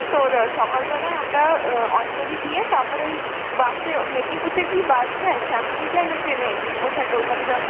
তোরা সকালবেলায় আমরা আঁ অঞ্জলি দিয়ে তারপরে ওই bus এ ও মেদনীপুর থেকে কি bus যায়, শ্যামলী যায় না train এ? কোথায় কলকাতা যাবো?